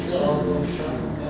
Qismən təqsirli bilirəm.